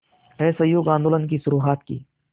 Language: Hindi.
के असहयोग आंदोलन की शुरुआत की